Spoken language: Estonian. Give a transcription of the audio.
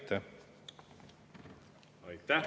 Aitäh!